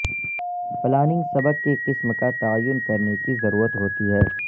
planning سبق کی قسم کا تعین کرنے کی ضرورت ہوتی ہے